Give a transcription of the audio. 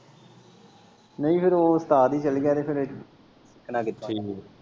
ਨਈ ਓ ਫੇਰ ਉਸਤਾਦ ਹੀ ਚੱਲ ਗਿਆ ਫੇਰ ਸਿੱਖਣਾ ਕਿੱਥੇ।